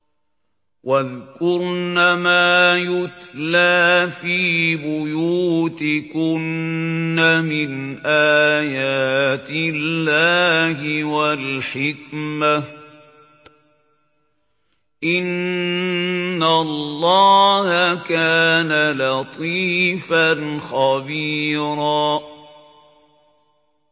وَاذْكُرْنَ مَا يُتْلَىٰ فِي بُيُوتِكُنَّ مِنْ آيَاتِ اللَّهِ وَالْحِكْمَةِ ۚ إِنَّ اللَّهَ كَانَ لَطِيفًا خَبِيرًا